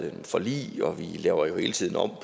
et forlig og vi laver jo hele tiden om